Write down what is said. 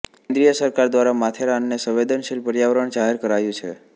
કેંદ્રીય સરકાર દ્વારા માથેરાનને સંવેદનશીલ પર્યાવરણ જાહેર કરાયું છે